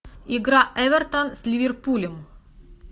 игра эвертон с ливерпулем